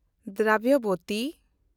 ᱫᱨᱟᱵᱷᱭᱚᱵᱚᱛᱤ